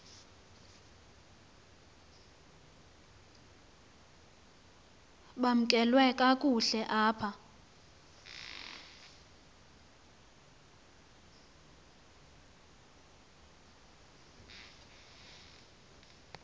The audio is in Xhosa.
bamkelwe kakuhte apha